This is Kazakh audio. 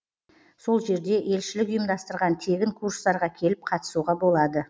сол жерде елшілік ұйымдастырған тегін курстарға келіп қатысуға болады